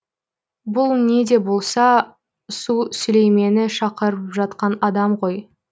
бұл не де болса су сүлеймені шақырып жатқан адам ғой